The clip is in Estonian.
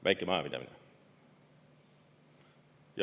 Väike majapidamine.